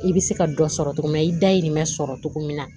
I bɛ se ka dɔ sɔrɔ cogo min na i dayirimɛ sɔrɔ togo min na